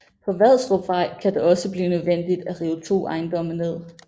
På Vadstrupvej kan det også blive nødvendigt at rive to ejendomme ned